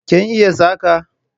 Kin iya saƙa?